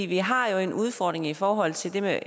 vi har en udfordring i forhold til det med